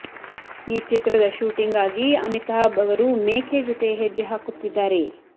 ಈ ಚಿತ್ರದ ಶೂಟಿಂಗ್ ಗಾಗಿ ಅಮಿತಾಭ್ ಅವರು ಮೇಕೆ ಜೊತೆ ಹೆಜ್ಜೆ ಹಾಕುತ್ತಿದ್ದಾರೆ